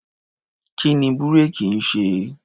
Kí ni búréèkì ń ṣe?